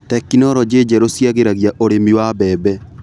Tekinologĩ njerũ ciragĩria ũrĩmi wa mbembe.